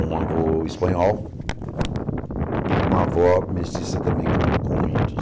Um avô espanhol e com uma avó mestiça também com com índios.